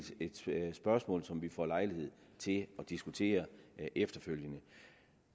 et spørgsmål som vi får lejlighed til at diskutere efterfølgende